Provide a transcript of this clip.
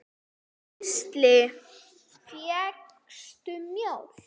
Gísli: Fékkstu mjólk?